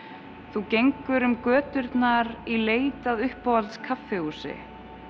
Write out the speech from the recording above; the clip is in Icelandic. þú gengur um göturnar í leit að uppáhalds kaffihúsi